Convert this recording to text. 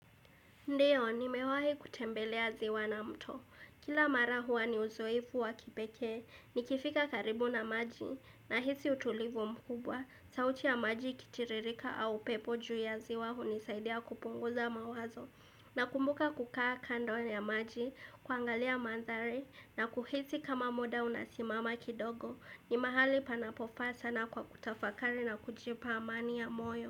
Ndiyo, nimewahi kutembelea ziwa na mto. Kila mara huwa ni uzoefu wa kipeke, ni kifika karibu na maji, na hisi utulivu mkubwa, sauti ya maji kitiririka au pepo juu ya ziwa hunisaidia kupunguza mawazo. Na kumbuka kukaa kando ya maji, kuangalia madhari, na kuhisi kama muda unasimama kidogo, ni mahali panapofaa sana kwa kutafakari na kujipa amani ya moyo.